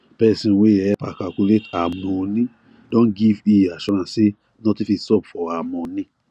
person wey help her calculate her moni don give he assurance say nothing fit sup for her money